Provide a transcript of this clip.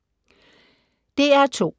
DR2